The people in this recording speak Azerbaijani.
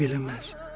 "Eybi eləməz."